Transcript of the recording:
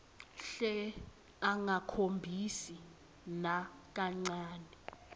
hle angakhombisi nakancane